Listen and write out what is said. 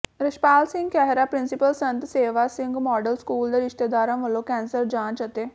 Rachhpal Singh Khaira principal Sant Sewa Singh model school ਦੇ ਰਿਸ਼ਤੇਦਾਰਾਂ ਵਲੋਂ ਕੈਂਸਰ ਜਾਂਚ ਅਤੇ